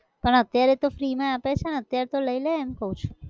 પણ અત્યારે તો free માં આપે છે ને અત્યારે તો લઇ લે એમ કહું છું